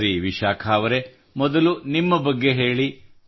ಸರಿ ವಿಶಾಖಾ ಅವರೆ ಮೊದಲು ನಿಮ್ಮ ಬಗ್ಗೆ ಹೇಳಿ